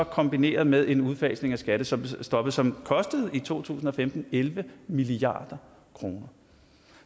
kombineret med en udfasning af skattestoppet som i to tusind og femten elleve milliard kroner